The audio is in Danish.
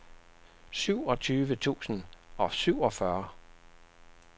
syvogtyve tusind og syvogfyrre